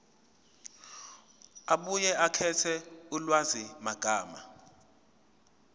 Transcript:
abuye akhethe ulwazimagama